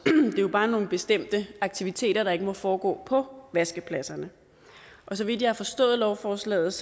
det jo bare nogle bestemte aktiviteter der ikke må foregå på vaskepladserne så vidt jeg har forstået lovforslaget